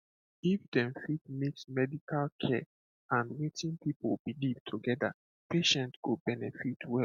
if dem fit mix medical care and wetin people beileve together patient go benefit well